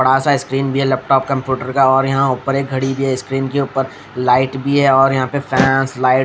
बड़ा सा स्क्रीन भी है लैपटॉप कंप्यूटर का और यहाँ ऊपर एक घड़ी भी है स्क्रीन के ऊपर लाइट भी है और यहाँ पे फैंस लाइट --